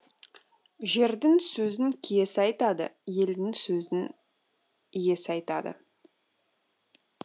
жердің сөзін киесі айтады елдің сөзін иесі айтады